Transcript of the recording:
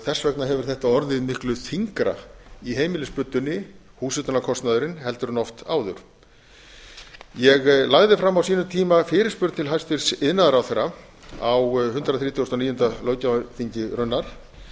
þess vegna hefur þetta orðið miklu þyngra í heimilisbuddunni húshitunarkostnaðurinn heldur en oft áður ég lagði fram á sínum tíma fyrirspurn til hæstvirts iðnaðarráðherra á hundrað þrítugasta og níunda löggjafarþingi raunar